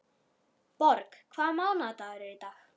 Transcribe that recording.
Borg, hvaða mánaðardagur er í dag?